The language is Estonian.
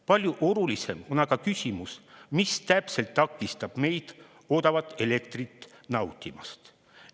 Palju olulisem on aga küsimus, mis täpselt takistab meid odavat elektrit nautimast.